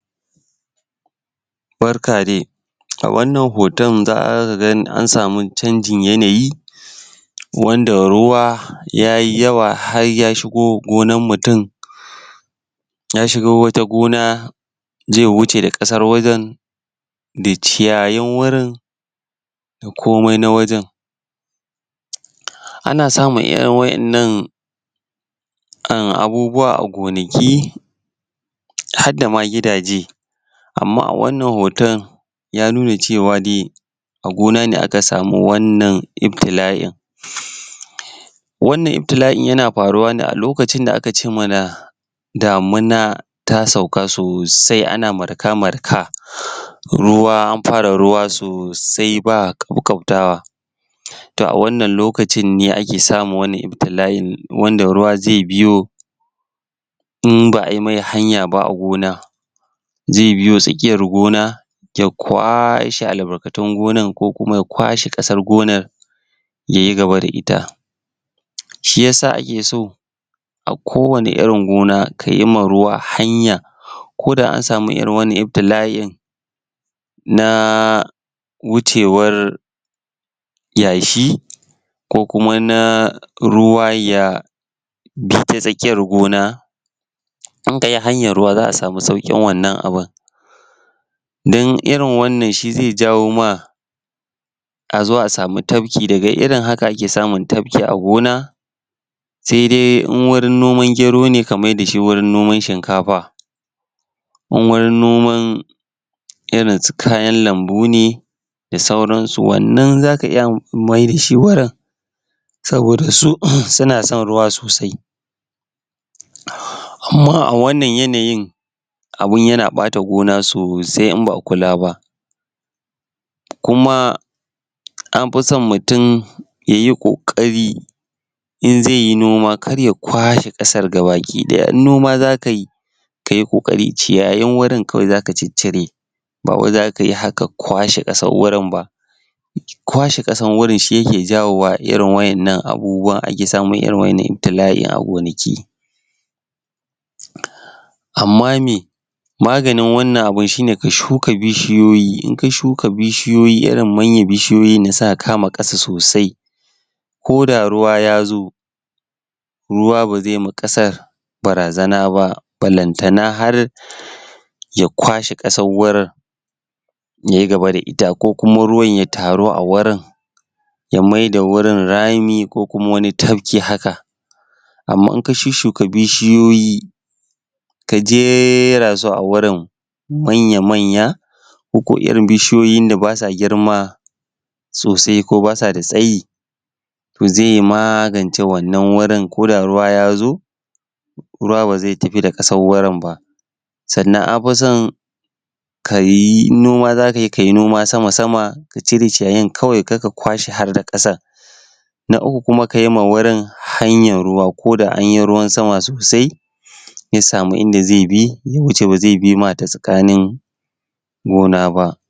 Barka dai A wannan hoton za ka ga an samu zanjin yanayi wanda ruwa yayi yawa har ya shigo gonar mutum ya shigo wata gona, ze huce da ƙasar wajen da ciyayin wurin, da komaI na wajen. Ana samun irin wa'yannan abubuwa a gonaki harda da ma gidaje, amma a wannan hoton ya nuna cewa dai a gona ne aka smi wannan iftila'in. Wannan iftila'in yana faruwane a lokacin da aka ce mana damina ta sauka sosai ana marka-marka an fara ruwa sosai ba ƙaukautawa. To a wannan lokacinne ake samun wannan iftila'in wanda ruwa zai biyo in ba ai mai hanya ba a gona, zai biyo tsakiyar gona, ya kwase albarkatun gonan ko kuma ya kwase ƙasar gonan ya yi gaba da ita. Shi ya sa ake so a kowanne irin gona ka yi ma ruwa hanya ko da an samu irin wannan iftila'in na wucewar yashi, ko kuma na ruwa ya biyo ta tsakiyar gona in kayi hanyar ruwa za ka sami saukin wannan abun. Don irin wannan shi zai za wo ma a zo a sami tafki, daga irin haka ake samun tafki a gona, sai dai in wurin noman gero a mai da shi wurin noman shinkafa. In wurin noman irin su kayan lambu ne da sauran su wannan za ka iya mai da shi wurin saboda su suna son ruwa sosai. Amma a wannan yanayin, abun yana ɓata gona sosai in ba'a kula ba, kuma an fi son mutum ya yi ƙoƙari in zai yi noma, kar ya kwase ƙasar gaba daya, in noma za kai ka yi ƙoƙari, ciyayin wurin kawai za ka ciccire bawai zaka yi haƙan kwashe ƙasar wurin ba. Kwashe ƙasar wurin sh yake jawowa, irin wa'yannan abubuwan,a ke samun irin wa'yannan iftila'in a gonaki. Amma me maganin wannan abun shine ka shuka bishiyoyi in ka shuka bishiyoyi, irin mayna bishiyoyin nan suka kama ƙasa sosai ko da ruwa ya zo, ruwa ba zai ma ƙasar barazana ba, balantana har ya kwashe ƙasar wurin, ya yi gaba da ita ko kuma ruwan ya taru a wurin ya mayar da wurin rami ko kuma wani tafki haka. Amma in ka shuka bishiyoyi ka jera su a wurin manya-manya koko irin bishiyoyin da ba sa girma sosai ko ba sa da tsayi, to zai magance wannanwurin ko da ruwa ya zo ruwa ba zai tafi da ƙasar wurin ba. Sannan an fi son in noma za kayi, kayi noma sama sama ka cire ciyayin kawai kar ka kwashe har da ƙasar. Na Uku kuma ka yiwa wurin hanyar ruwa, ko da anyi ruwan sama sosai zai sami in da zai bi ya wuce ba zai bi ma ta tsakanin gona ba.